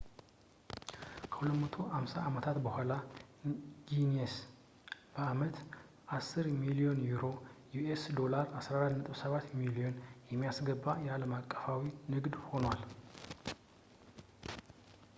ከ250 አመታት በኋላ፣ ጊኒስ በአመት 10 ቢሊዮን ዩሮዎች us$14.7 ቢሊዮን የሚያስገባ አለም አቀፋዊ ንግድ ሆኗል